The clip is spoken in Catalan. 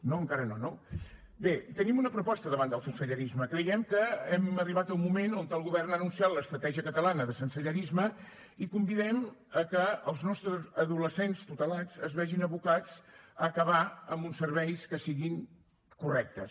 no encara no no bé tenim una proposta davant del sensellarisme creiem que hem arribat a un moment on el govern ha anunciat l’estratègia catalana de sensellarisme i convidem que els nostres adolescents tutelats es vegin abocats a acabar amb uns serveis que siguin correctes